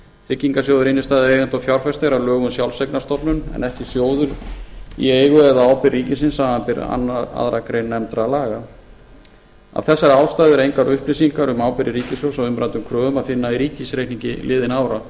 tryggingasjóður innstæðueigenda og fjárfesta er að lögum sjálfseignarstofnun en ekki sjóður í eigu eða á ábyrgð ríkisins samanber aðra grein nefndra laga af þessari ástæðu er engar upplýsingar um ábyrgð ríkissjóðs á umræddum kröfum að finna í ríkisreikningi liðinna